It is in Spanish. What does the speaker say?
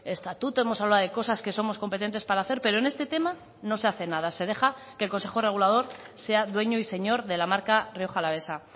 estatuto hemos hablado de cosas que somos competentes para hacer pero en este tema no se hace nada se deja que el consejo regulador sea dueño y señor de la marca rioja alavesa